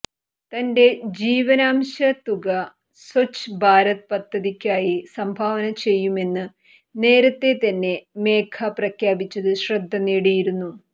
തന്റെ ജീവനാംശ തുക സ്വച്ഛ് ഭാരത് പദ്ധതിക്കായി സംഭാവന ചെയ്യുമെന്ന് നേരത്തെ തന്നെ മേഘ പ്രഖ്യാപിച്ചത് ശ്രദ്ധ നേടിയിരുന്നു